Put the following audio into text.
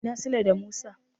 Ina Sule da Musa?